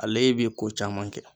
Ale be ko caman kɛ